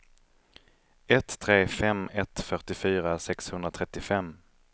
ett tre fem ett fyrtiofyra sexhundratrettiofem